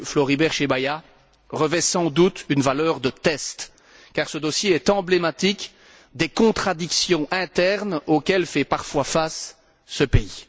Floribert Chebeya, revêt sans doute une valeur de test, car ce dossier est emblématique des contradictions internes auxquelles fait parfois face ce pays.